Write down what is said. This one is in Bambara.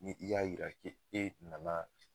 Ni i y'a yira k'e e nana